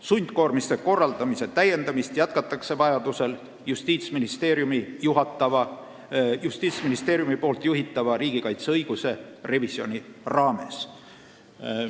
Sundkoormiste korraldamise täiendamist jätkatakse vajadusel Justiitsministeeriumi juhitava riigikaitseõiguse revisjoni raames.